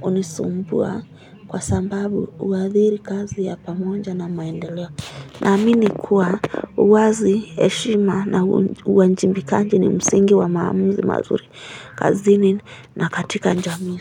hunisumbua kwa sababu huathiri kazi ya pamoja na maendeleo. Na amini kuwa uwazi, heshima na uwajibikaji ni msingi wa maamuzi mazuri kazini na katika jamii.